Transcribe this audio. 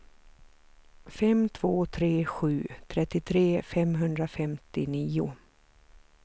fem två tre sju trettiotre femhundrafemtionio